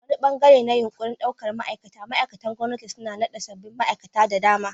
A wani ɓangare na yunƙurin ɗaukar ma'aikata, ma'aikatan gwamnati sun naɗa sabbin ma'aikata da dama.